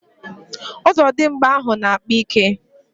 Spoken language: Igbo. Ozodimgba ahu na-akpa ike